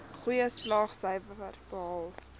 goeie slaagsyfers behaal